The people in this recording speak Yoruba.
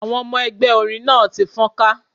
Àwọn ọmọ ẹgbẹ́ orin náà ti fọ́nká.